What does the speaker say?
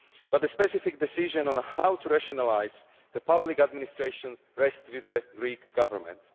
But the specific decision on how to rationalise the public administration rests with the Greek Government.